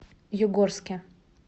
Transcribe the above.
югорске